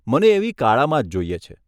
મને એવી કાળામાં જ જોઈએ છે.